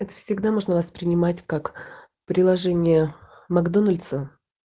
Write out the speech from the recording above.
это всегда можно воспринимать как приложение макдональдса